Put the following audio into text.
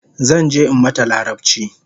Zanje in mata larabchi